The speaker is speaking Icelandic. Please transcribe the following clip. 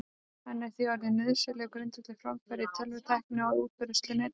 Hann er því orðinn nauðsynlegur grundvöllur framfara í tölvutækni og á útbreiðslu Netsins.